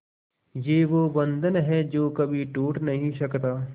ये वो बंधन है जो कभी टूट नही सकता